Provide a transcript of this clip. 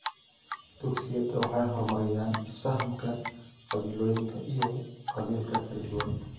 Dugsiyada waxay horumariyaan isfahamka qabiilooyinka iyo qabaa'ilka kala duwan.